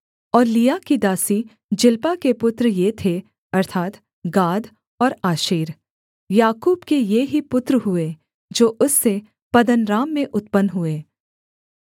और लिआ की दासी जिल्पा के पुत्र ये थे अर्थात् गाद और आशेर याकूब के ये ही पुत्र हुए जो उससे पद्दनराम में उत्पन्न हुए